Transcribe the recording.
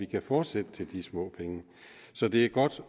kan fortsætte til de små penge så det er godt